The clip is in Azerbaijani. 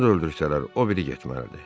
Onu da öldürsələr, o biri getməlidir.